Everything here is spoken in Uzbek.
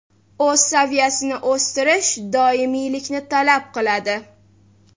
O‘z saviyasini o‘stirish doimiylikni talab qiladi.